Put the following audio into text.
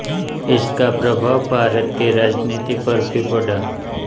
इसका प्रभाव भारत की राजनीति पर भी पड़ा